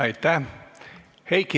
Aitäh!